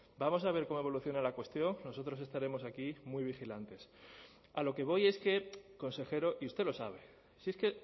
vamos a ver cómo evoluciona la cuestión nosotros estaremos aquí muy vigilantes a lo que voy es que consejero y usted lo sabe si es que